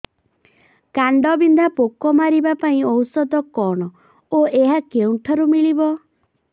କାଣ୍ଡବିନ୍ଧା ପୋକ ମାରିବା ପାଇଁ ଔଷଧ କଣ ଓ ଏହା କେଉଁଠାରୁ ମିଳିବ